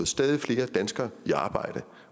stadig flere danskere i arbejde